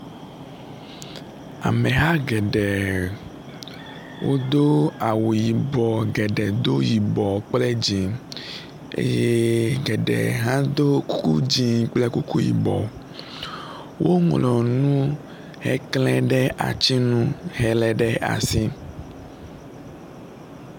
Ameha geɖe wodó awu yibɔ geɖe dó yibɔ kple dzĩ eye geɖe hã dó kuku dze kple kuku yibɔ , wo ŋlɔnu he klɛɖe atsinu hele ɖe asi